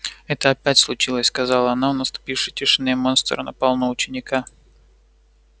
это опять случилось сказала она в наступившей тишине монстр напал на ученика